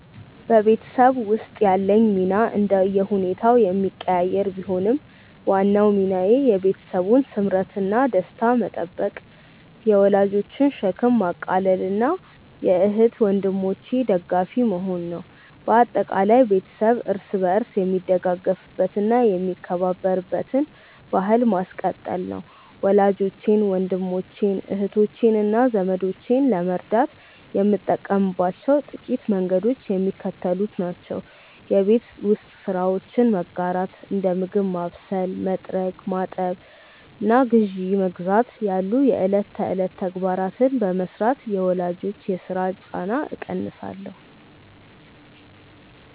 በቤተሰብ ውስጥ ያለኝ ሚና እንደየሁኔታው የሚቀያየር ቢሆንም፣ ዋናው ሚናዬ የቤተሰቡን ስምረትና ደስታ መጠበቅ፣ የወላጆችን ሸክም ማቃለልና የእህት ወንድሞቼ ደጋፊ መሆን ነው። በአጠቃላይ፣ ቤተሰብ እርስ በርስ የሚደጋገፍበትና የሚከባበርበትን ባሕል ማስቀጠል ነው። ወላጆቼን፣ ወንድሞቼን፣ እህቶቼንና ዘመዶቼን ለመርዳት የምጠቀምባቸው ጥቂት መንገዶች የሚከተሉት ናቸው የቤት ውስጥ ስራዎችን መጋራት፦ እንደ ምግብ ማብሰል፣ መጥረግ፣ ማጠብና ግዢ መግዛት ያሉ የዕለት ተዕለት ተግባራትን በመሥራት የወላጆችን የሥራ ጫና እቀንሳለሁ